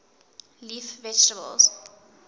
leaf vegetables